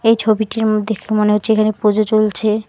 এই ছবিটি উম-দেখে মনে হচ্ছে এখানে পুজো চলছে।